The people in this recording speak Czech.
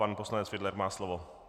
Pan poslanec Fiedler má slovo.